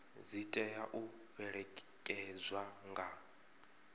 dzi tea u fhelekedzwa nga